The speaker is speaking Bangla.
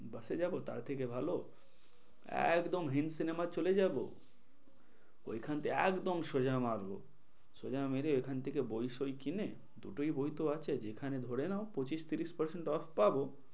Bus এ যাবো তার থেকে ভালো একদম হিন্দ cinema চলে যাব। ওইখান থেকে একদম সোজা মারবো সোজা মেরে ওইখান থেকে বই সই কিনে দুটোই বই তো আছে যেখানে ধরে নাও পঁচিশ থেকে ত্রিশ percent off পাবো।